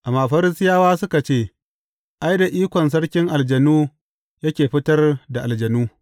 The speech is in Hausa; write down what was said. Amma Farisiyawa suka ce, Ai, da ikon sarkin aljanu yake fitar da aljanu.